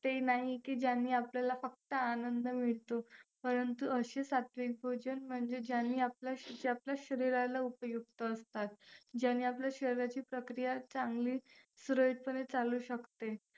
ते नाही की ज्याने आपल्याला फक्त आनंद मिळतो परंतु असे सात्विक भोजन म्हणजे ज्यांनी आपल्या शरीराला उपयुक्त असतात. ज्याने आपल्या शरीराची प्रक्रिया चांगली सुरळीतपणे चालू शकते.